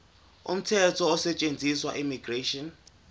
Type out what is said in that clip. umthetho osetshenziswayo immigration